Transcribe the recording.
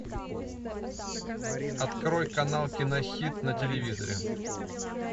открой канал кинохит на телевизоре